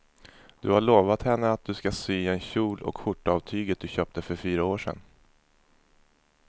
Du har lovat henne att du ska sy en kjol och skjorta av tyget du köpte för fyra år sedan.